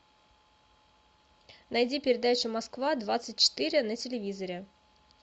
найди передачу москва двадцать четыре на телевизоре